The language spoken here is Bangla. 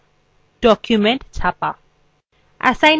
documents ছাপা